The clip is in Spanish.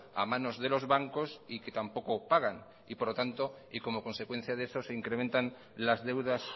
a manos de los bancos y que tampoco pagan y por lo tanto y como consecuencia de eso se incrementan las deudas